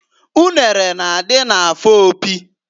Unere na-adị n'afọ Opi.